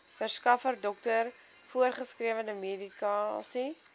verskaffer dokter voorgeskrewemedikasie